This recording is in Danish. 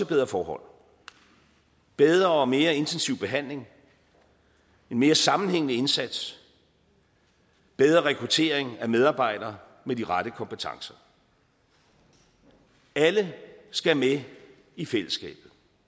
bedre forhold bedre og mere intensiv behandling en mere sammenhængende indsats bedre rekruttering af medarbejdere med de rette kompetencer alle skal med i fællesskabet